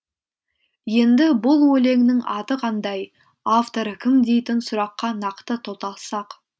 енді бұл өлеңнің аты қандай авторы кім дейтін сұраққа нақты тоқталсақ